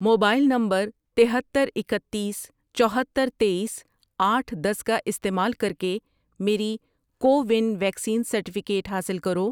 Mobile number تہتر، اکتیس، چوہتر، تییس، آٹھ ،دس کا استعمال کر کے میری کو ون ویکسین سرٹیفکیٹ حاصل کرو۔